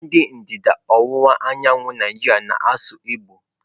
Ndị ndịda ọwụwa anyanwụ Naijiria na-asụ Igbo.